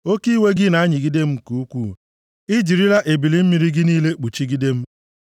Oke iwe gị na-anyịgide m nke ukwuu; i jirila ebili mmiri gị niile kpuchigide m. Sela